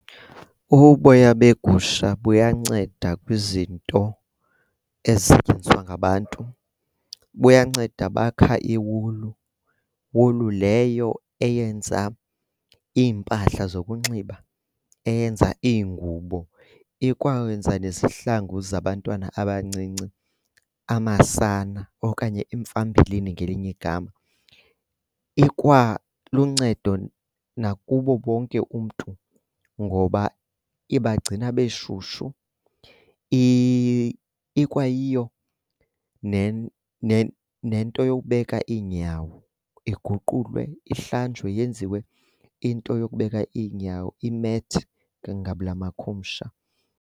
Uboya beegusha buyanceda kwizinto ezisetyenziswa ngabantu. Buyanceda bakha iiwulu. Wulu leyo eyenza iimpahla zokunxiba, eyenza ingubo ikwenza nezihlangu zabantwana abancinci, amasana okanye iimfambilini ngelinye igama. Ikwaluncedo nakubo bonke umntu ngoba ibagcina beshushushu. Ikwayiyo nento yokubeka iinyawo. Iguqulwe ihlanjwe yenziwe into yokubeka iinyawo, i-mat ke ngabula makhumsha.